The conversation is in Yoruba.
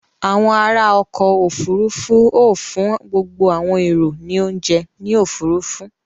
Awon ara oko ofurufu o fun gbogbo awon ero ni ounje ni ofurufu.